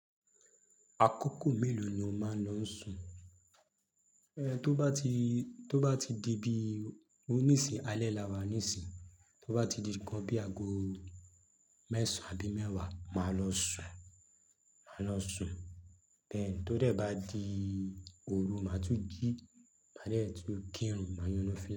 Akókò mélòó ni o máa ń lọ sùn? Tó bá ti, tó bá ti di bí, òní sì alẹ́ lawà nísìyí, tó bá ti di kan bí aago mẹ́sàn án àbí mẹ́wàá, màá lọ sùn, màá lọ sùn. Tí ó bá di òru, màá tún jí, màá tún kírun, màá yan nafíla.